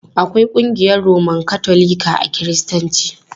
Akwai ƙungiyar Roman Katolika a Kiristanci.